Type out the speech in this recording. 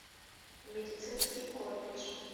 медицинский колледж